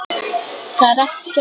Það er ekkert mál.